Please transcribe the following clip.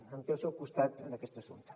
em té al seu costat en aquest assumpte